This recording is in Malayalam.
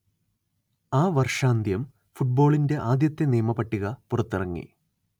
ആ വർഷാന്ത്യം ഫുട്ബോളിന്റെ ആദ്യത്തെ നിയമ പട്ടിക പുറത്തിറങ്ങി